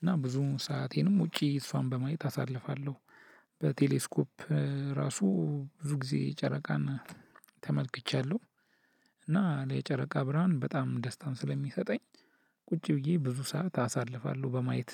እና ብዙ ሰአቴንም ውጪ እሷን በማየት አሳልፋለሁ በቴሌስኮፕ ራሱ ብዙ ጊዜ ጨረቃን ተመልክቻለሁ። እና ለጨረቃ ብርሃን በጣም ደስታን ስለሚሰጠኝ ቁጭ ብዬ ብዙ ሰዓት አሳልፋለሁ በማየት።